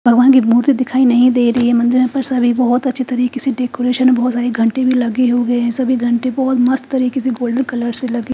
भगवान की मूर्ति दिखाई नहीं दे रही है मंदिर में सभी बोहोत अच्छी तरीकेसे डेकोरेशन बोहोत सारे घंटे भी लगे हुए है सभी घंटी बोहोत मस्त तरीकेसे गोल्डन कलरके --